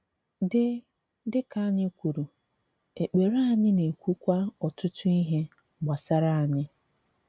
Dị Dị ka anyị kwùrù, èkpere anyị na-ekwukwa ọtụtụ ihé gbásárá anyị.